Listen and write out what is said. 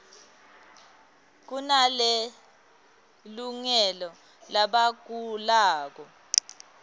kunale lungele labagulako